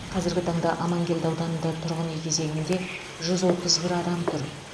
қазіргі таңда амангелді ауданында тұрғын үй кезегінде жүз отыз бір адам тұр